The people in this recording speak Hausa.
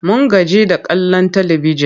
Mun gaji da kallon talibijin.